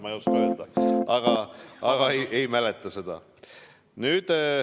Ma ei oska öelda, ma ei mäleta seda.